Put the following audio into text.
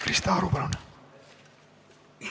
Krista Aru, palun!